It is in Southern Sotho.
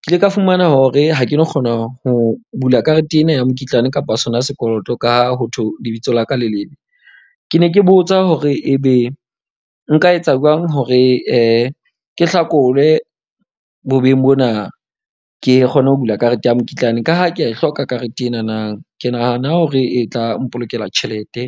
ke ile ka fumana hore ha ke no kgona ho bula karete ena ya mokitlane kapa sona sekoloto. Ka ha ho thwe lebitso la ka le lebe. Ke ne ke botsa hore ebe nka etsa jwang hore ke hlakolwe bobeng bona. Ke kgone ho bula karete ya mokitlane ka ha ke a e hloka karete enana. Ke nahana hore e tla mpolokela tjhelete.